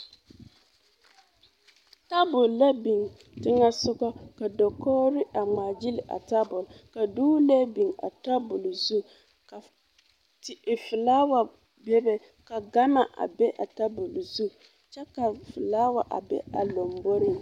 Tabol la biŋ teŋɛsogɔ ka dakogri a ŋmaa gyili a tabol ka dogelee biŋ a tabol zu ka filawa bebe ka gama a be a tabol zu kyɛ ka filawa a be a lɔmboriŋ.